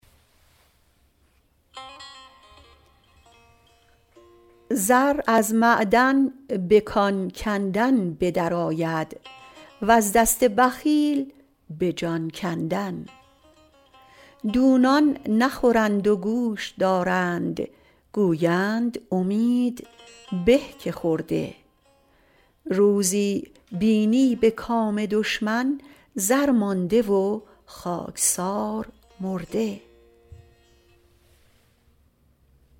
زر از معدن به کان کندن به در آید وز دست بخیل به جان کندن دونان نخورند و گوش دارند گویند امید به که خورده روزی بینی به کام دشمن زر مانده و خاکسار مرده